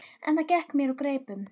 En það gekk mér úr greipum.